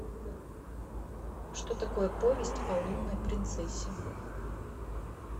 что такое повесть о лунной принцессе